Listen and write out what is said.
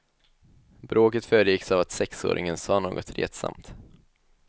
Bråket föregicks av att sexåringen sa något retsamt.